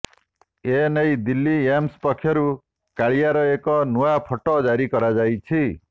ଏ ନେଇ ଦିଲ୍ଲୀ ଏମ୍ସ୍ ପକ୍ଷରୁ କାଳିଆର ଏକ ନୂଆ ଫଟୋ ଜାରି କରାଯାଇଛି